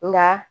Nka